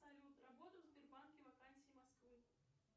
салют работа в сбербанке вакансии москвы